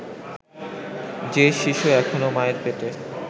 যে শিশু এখনও মায়ের পেটে